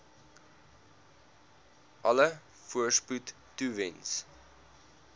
alle voorspoed toewens